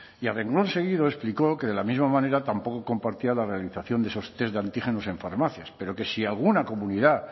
y a renglón seguido explicó que de la misma manera tampoco compartía la realización de esos test de antígenos en farmacias pero que si alguna comunidad